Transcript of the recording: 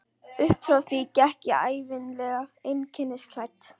Uppfrá því gekk ég ævinlega einkennisklædd.